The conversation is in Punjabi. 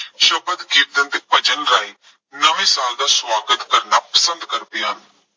ਸ਼ਬਦ ਕੀਰਤਨ, ਭਜਨ ਗਾਇਨ, ਨਵੇਂ ਸਾਲ ਦਾ ਸਵਾਗਤ ਕਰਨਾ ਪਸੰਦ ਕਰਦੇ ਹਨ।